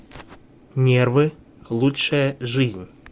нервы лучшая жизнь